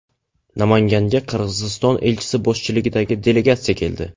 Namanganga Qirg‘iziston elchisi boshchiligidagi delegatsiya keldi.